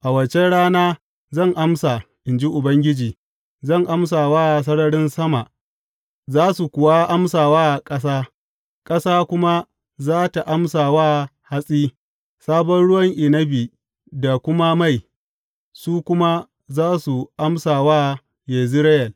A waccan rana zan amsa, in ji Ubangiji, zan amsa wa sararin sama, za su kuwa amsa wa ƙasa; ƙasa kuma za tă amsa wa hatsi, sabon ruwan inabi da kuma mai, su kuma za su amsa wa Yezireyel.